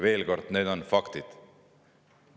Veel kord: need on faktid.